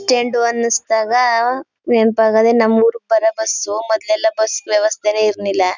Stand ಅನಿಸಿದಾಗ ನೆನಪಾಗೋದೇ ನಮ್ಮೂರಿಗೆ ಬರೋ ಬಸ್ ಮೊದ್ಲೆಲ್ಲಾ ಬಸ್ ವ್ಯವಸ್ಥೆನೆ ಇರ್ನಿಲ್ಲ.